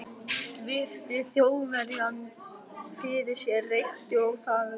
Virti Þjóðverjann fyrir sér, reykti og þagði.